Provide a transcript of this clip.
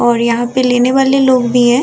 और यहाँ पे लेने वाले लोग भी है।